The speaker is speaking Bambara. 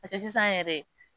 sisan yɛrɛ